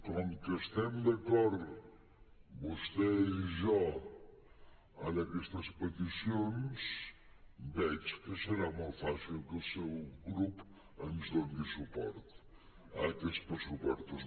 com que estem d’acord vostè i jo en aquestes peticions veig que serà molt fàcil que el seu grup ens doni suport a aquests pressupostos